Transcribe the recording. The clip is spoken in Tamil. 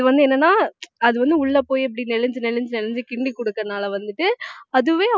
அது வந்து என்னன்னா அது வந்து உள்ள போய் அப்படி நெளிஞ்சி நெளிஞ்சி நெளிஞ்சி கிண்டி கொடுக்கிறதுனால வந்துட்டு அதுவே